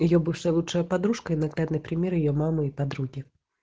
её бывшая лучшая подружка и наглядный пример её мама и подруги